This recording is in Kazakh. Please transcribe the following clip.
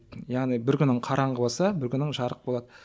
яғни бір күнің қараңғы болса бір күнің жарық болады